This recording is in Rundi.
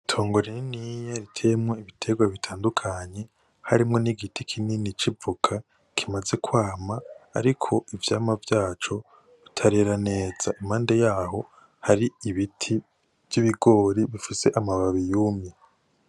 Itongo rininiya riteyemwo ibiterwa bitandukanye harimwo n'igiti kinini c'ivoka kimaze kwama ariko ivyamwa vyaco bitarera neza, impande yaho hari ibiti vy'ibigori bifise amababi yumye.